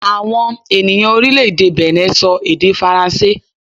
Àwọn ènìyàn orílẹ̀-èdè Benin sọ èdè Faransé